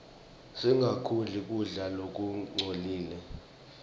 singakudli kudla lokungcolile